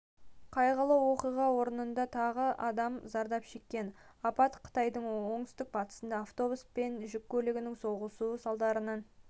қайғылы оқиға орнында тағы адам зардап шеккен апат қытайдың оңтүстік-батысында автобус пен жүк көлігінің соқтығысуы салдарынан